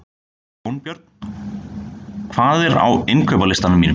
Jónbjörn, hvað er á innkaupalistanum mínum?